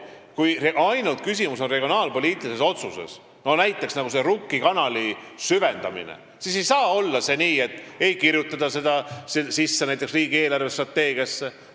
Kui küsimus on ainult regionaalpoliitilises otsuses, nagu Rukki kanali süvendamise puhul, siis ei saa olla nii, et seda ei kirjutata sisse näiteks riigi eelarvestrateegiasse.